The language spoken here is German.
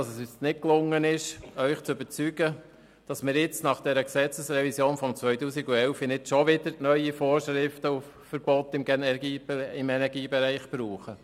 Es ist uns nicht gelungen, Sie davon zu überzeugen, dass wir nach der Gesetzesrevision von 2011 nicht schon wieder neue Vorschriften und Verbote im Energiebereich brauchen.